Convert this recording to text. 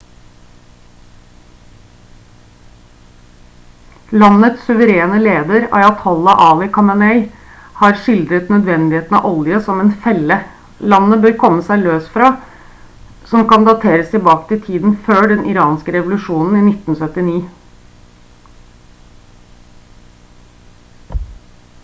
landets suverene leder ayatollah ali khamenei har skildret nødvendigheten av olje som «en felle» landet bør komme seg løs fra som kan dateres tilbake til tiden før den iranske revolusjonen i 1979